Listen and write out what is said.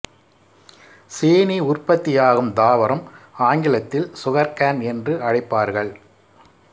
சீனி உற்பத்தியாகும் தாவரம் ஆங்கிலத்தில் சுகர் கேன் என்று அழைப்பார்கள்